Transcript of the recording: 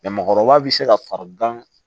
mɔgɔkɔrɔba bi se ka fari gan